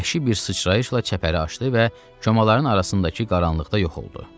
Vəhşi bir sıçrayışla çəpəri aşdı və köməların arasındakı qaranlıqda yox oldu.